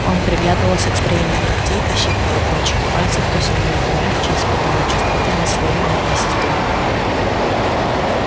он приглядывался к строению ногтей пощипывал кончики пальцев то сильнее то мягче испытывая чувствительность своей нервной системы